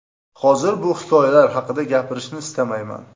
Hozir bu hikoyalar haqida gapirishni istamayman.